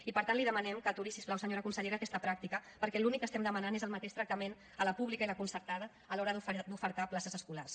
i per tant li demanem que aturi si us plau senyora consellera aquesta pràctica perquè l’únic que estem demanant és el mateix tractament a la pública i la concertada a l’hora d’ofertar places escolars